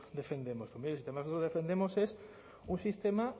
defendemos pues mire el sistema que nosotros defendemos es un sistema